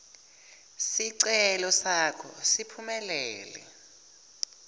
sicelo sakho siphumelele